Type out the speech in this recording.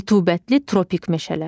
Rütubətli tropik meşələr.